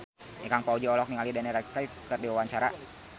Ikang Fawzi olohok ningali Daniel Radcliffe keur diwawancara